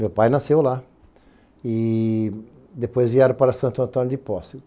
Meu pai nasceu lá e depois vieram para Santo Antônio de Posse.